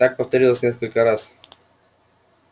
так повторилось несколько раз